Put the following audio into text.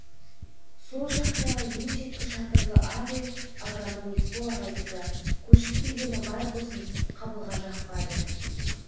сол жақтағы ең шеткі шатырлы ақ үй агроном есбол ағайдікі көшіп келгені бар болсын қабылға жақпады